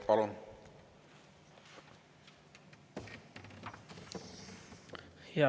Palun!